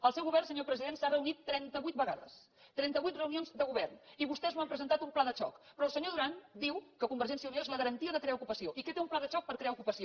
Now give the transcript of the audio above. el seu govern senyor president s’ha reunit trentavuit vegades trenta vuit reunions de govern i vostès no han presentat un pla de xoc però el senyor duran diu que convergència i unió és la garantia de crear ocupació i que té un pla de xoc per crear ocupació